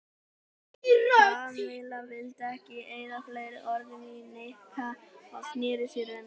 Kamilla vildi ekki eyða fleiri orðum í Nikka og snéri sér undan.